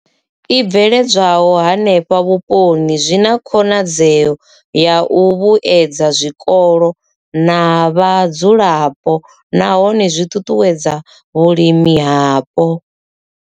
I bveledzwaho henefho vhuponi zwi na khonadzeo ya u vhuedza zwikolo na vhadzulapo nahone zwi ṱuṱuwedza vhulimi hapo.